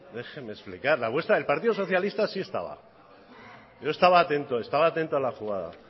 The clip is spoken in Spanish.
déjeme explicar la vuestra la del partido socialista sí estaba yo estaba atento estaba atento a la jugada